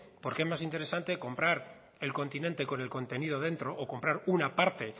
porque es más interesante comprar el continente con el contenido dentro o comprar una parte